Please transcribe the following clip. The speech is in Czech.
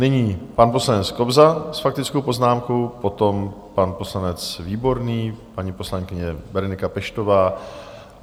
Nyní pan poslanec Kobza s faktickou poznámkou, potom pan poslanec Výborný, paní poslankyně Berenika Peštová.